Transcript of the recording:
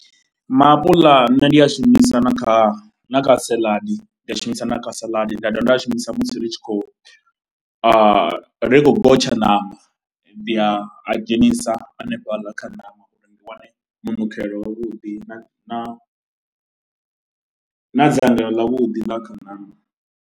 Maapuḽa nṋe ndi a shumisa na kha na kha saḽadi, nda shumisa na kha saḽadi, nda dovha nda a shumisa musi ri tshi khou ri khou gotsha ṋama, ndi a dzhenisa hanefhaḽa kha ṋama uri ndi wane munikelo wavhuḓi na na na dzangalelo ḽavhuḓi ḽa kha ṋama.